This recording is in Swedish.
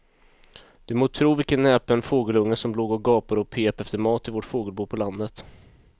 Du må tro vilken näpen fågelunge som låg och gapade och pep efter mat i vårt fågelbo på landet.